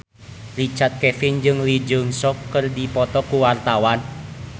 Richard Kevin jeung Lee Jeong Suk keur dipoto ku wartawan